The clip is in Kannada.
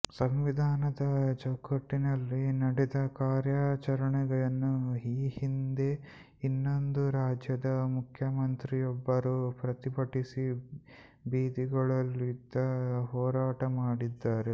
ಸಂವಿಧಾನದ ಚೌಕಟ್ಟಿಯಲ್ಲಿ ನಡೆದ ಕಾರ್ಯಾಚರಣೆಯನ್ನು ಈ ಹಿಂದೆ ಇನ್ನೊಂದು ರಾಜ್ಯದ ಮುಖ್ಯಮಂತ್ರಿಯೊಬ್ಬರು ಪ್ರತಿಭಟಿಸಿ ಬೀದಿಗಳಿದು ಹೋರಾಟ ಮಾಡಿದ್ದರು